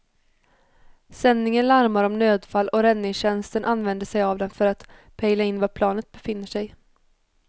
Sändningen larmar om nödfall och räddningstjänsten använder sig av den för att pejla in var planet befinner sig.